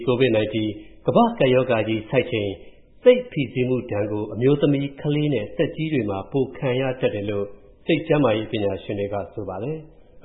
COVID-19 ကမ္ဘာ့ကပ်ရောဂါကြီးဆိုက်ချိန် စိတ်ဖိစီးမူဒဏ်ကို အမျိုးသမီး၊ ကလေးနဲ့ သက်ကြီးတွေမှာ ပိုခံရတတ်တယ်လို့ စိတ်ကျန်းမာရေးပညာရှင်တွေက ဆိုပါတယ်။